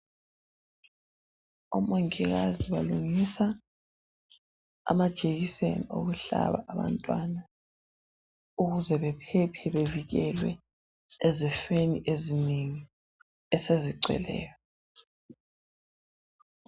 Omongikazi balungisa amajekiseni okuhlaba abantwana ukuze bephephe bevikelwe ezifweni eziningi esezigcweleyo.